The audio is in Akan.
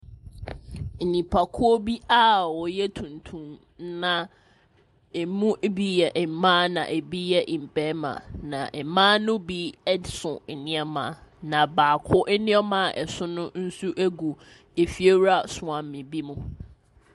Nipakuo bi a wɔyɛ tuntum. Na wɔn mu bi yɛ mmaa na ɛbi yɛ mmarima. Na mmaa no bi so nneɛma, na baako nneɛma a ɛso no nso gu fiewura soa me bi mu.